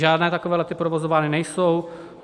Žádné takové lety provozovány nejsou.